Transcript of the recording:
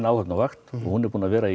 áhöfn á vakt og hún er búin að vera